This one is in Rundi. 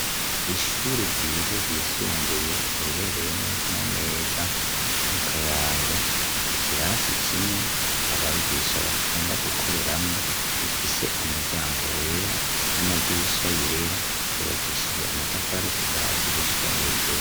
Ishuri ryiza ryisunguye, riherereye neza na neza mu Kayanza, ikirasi kimwe abigisha bakunda gukoreramwo gifise umuryango wera n'amadirisha yera, cubakishijwe amatafari kuva hasi gushika hejuru.